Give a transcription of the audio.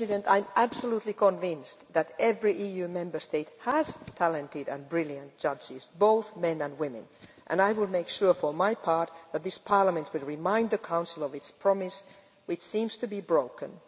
I am absolutely convinced that every EU Member State has talented and brilliant judges, both men and women, and I will make sure, for my part, that this Parliament will remind the Council of its promise, which seems to be broken,